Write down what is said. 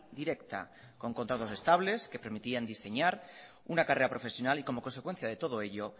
directa con contratos estables que permitían diseñar una carrera profesional y como consecuencia de todo ello